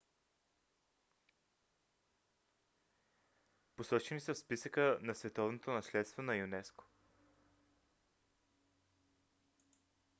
посочени са в списъка на световното наследство на юнеско